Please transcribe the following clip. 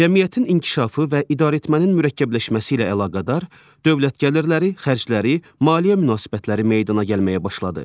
Cəmiyyətin inkişafı və idarəetmənin mürəkkəbləşməsi ilə əlaqədar dövlət gəlirləri, xərcləri, maliyyə münasibətləri meydana gəlməyə başladı.